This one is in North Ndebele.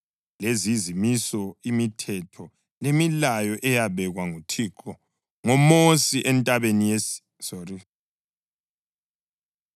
Lezi yizimiso, imithetho lemilayo eyabekwa nguThixo ngoMosi entabeni iSinayi phakathi kwakhe labako-Israyeli.